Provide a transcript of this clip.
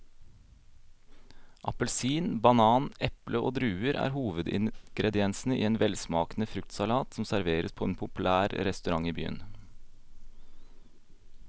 Appelsin, banan, eple og druer er hovedingredienser i en velsmakende fruktsalat som serveres på en populær restaurant i byen.